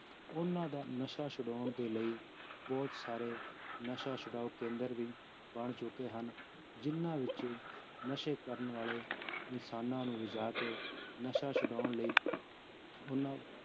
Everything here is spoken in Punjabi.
ਉਹਨਾਂਂ ਦਾ ਨਸ਼ਾ ਛੁਡਾਉਣ ਦੇ ਲਈ ਬਹੁਤ ਸਾਰੇ ਨਸ਼ਾ ਛੁਡਾਓ ਕੇਂਦਰ ਵੀ ਬਣ ਚੁੱਕੇ ਹਨ, ਜਿੰਨਾਂ ਵਿੱਚ ਨਸ਼ੇ ਕਰਨ ਵਾਲੇ ਇਨਸਾਨਾਂ ਨੂੰ ਰਜ਼ਾ ਕੇ ਨਸ਼ਾ ਛੁਡਾਉਣ ਲਈ ਉਹਨਾਂ